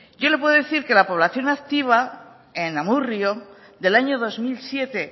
yo le puedo decir que la población activa en amurrio del año dos mil siete